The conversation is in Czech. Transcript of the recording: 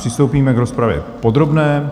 Přistoupíme k rozpravě podrobné.